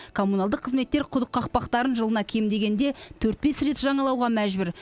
коммуналдық қызметтер құдық қақпақтарын жылына кем дегенде төрт бес рет жаңалауға мәжбүр